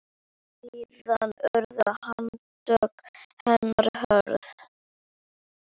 Síðan urðu handtök hennar hröð.